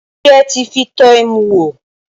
Ṣé ẹ ti fi tọ́ ẹmu wò?